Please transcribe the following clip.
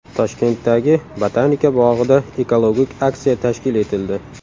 Toshkentdagi Botanika bog‘ida ekologik aksiya tashkil etildi.